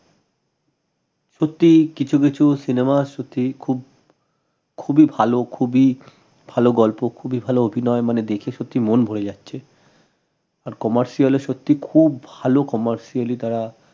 সত্যি কিছু কিছু cinema সত্যি খুব খুবই ভাল খুবই ভাল গল্প খুবই ভাল অভিনয় মানে দেখে সত্যি মন ভরে যাচ্ছে আর commercial এ সত্যি খুব ভাল commercially ই তারা